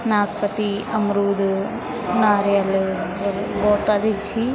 नाशपती अमरुद नारियल गौता दि छीं।